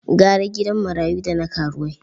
Gara gidan marayu da na karuwai.